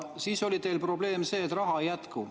Siis oli teil probleem, et raha ei jätku.